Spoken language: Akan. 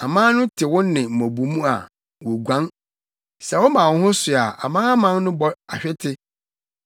Aman no te wo nne mmubomu a, woguan; sɛ woma wo ho so a amanaman no bɔ ahwete.